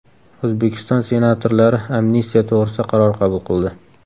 O‘zbekiston senatorlari amnistiya to‘g‘risida qaror qabul qildi.